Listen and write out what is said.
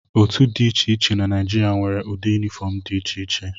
Otu dị iche iche na Naijiria nwere ụdị yunifọm dị iche iche.